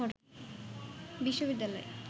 বিশ্ববিদ্যালয়